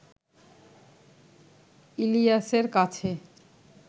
ইলিয়াসের কাছে